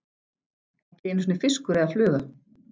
Ekki einu sinni fiskur eða fluga.